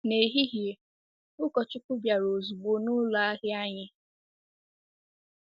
N'ehihie, ụkọchukwu bịara ozugbo n'ụlọ ahịa anyị.